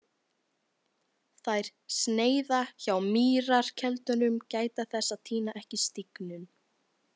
Þær sneiða hjá mýrarkeldunum, gæta þess að týna ekki stígnum.